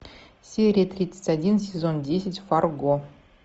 серия тридцать один сезон десять фарго